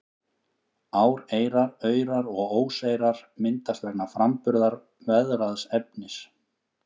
Áreyrar, aurar og óseyrar myndast vegna framburðar veðraðs efnis.